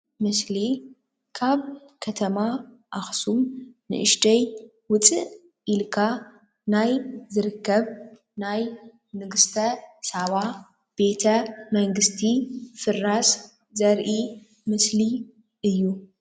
ምስሊ ካብ ከተማ ኣክሱም ንእሽተይ ውፅእ ኢልካ ናይ ዝርከብ ናይ ንግስተ ሳባ ቤተ መንግስቲ ፍራስ ዘርኢ ምስሊ እዩ።